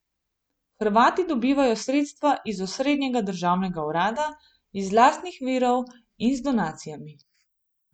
Hrvati dobivajo sredstva iz osrednjega državnega urada, iz lastnih virov in z donacijami.